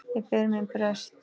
Ég ber minn brest.